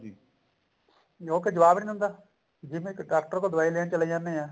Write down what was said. ਜੋ ਕੇ ਜਵਾਬ ਨੀ ਦਿੰਦਾ ਜਿਵੇਂ ਇੱਕ ਡਾਕਟਰ ਤਾਂ ਦਵਾਈ ਲੈਣ ਚਲੇ ਜਾਂਦੇ ਆ